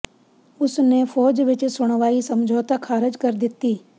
ਉਸ ਨੇ ਫ਼ੌਜ ਵਿਚ ਸੁਣਵਾਈ ਸਮਝੌਤਾ ਖਾਰਜ ਕਰ ਦਿੱਤੀ